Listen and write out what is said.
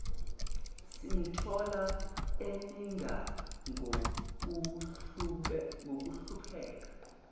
simthola eninga ngokuhlupheka